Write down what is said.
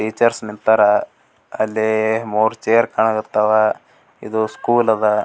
Teachers ನಿಂತರ್ ಅಲ್ಲಿ ಮೂರ್ ಚೇರ್ ಕಾಣಕತ್ತವ್ ಇದು ಸ್ಕೂಲ್ ಅದ್ .